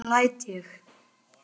Hvernig læt ég!